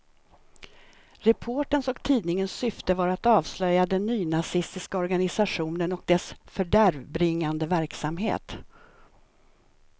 Reporterns och tidningens syfte var att avslöja den nynazistiska organisationen och dess fördärvbringande verksamhet.